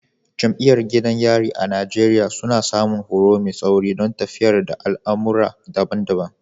Jami’an gidan yari a Najeriya, suna samun horo mai tsauri don tafiyar da al’amura daban-daban.